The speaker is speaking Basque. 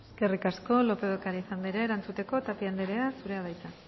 eskerrik asko lópez de ocariz anderea erantzuteko tapia anderea zurea da hitza